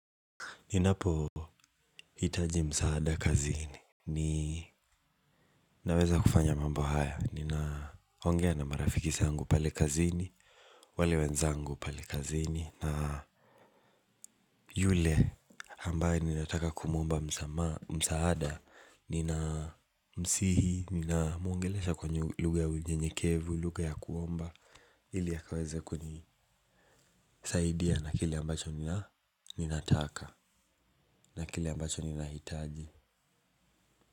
Ninapo hitaji msaada kazini ni naweza kufanya mambo haya. Ninaongea na marafiki zangu pale kazini. Wale wenzangu pale kazini na yule ambaye ninataka kumuomba msaada. Ninamsihi, ninamuongelesha kwa lugha ya unyenyekevu. Lugha ya kuomba ili akaweze kuni kusaidia na kile ambacho ninataka na kile ambacho nina hitaji.